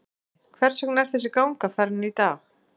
Jói, hvers vegna er þessi ganga farin í dag?